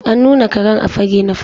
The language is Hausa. An nuna Karen a fage na farko.